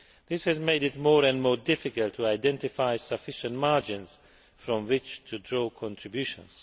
This has made it increasingly difficult to identify sufficient margins from which to draw contributions.